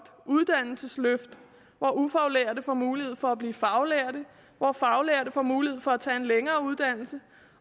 uddannelsesløft hvor ufaglærte får mulighed for at blive faglærte og hvor faglærte får mulighed for at tage en længere uddannelse